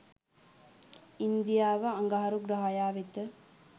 ඉන්දියාව අඟහරු ග්‍රහයා වෙත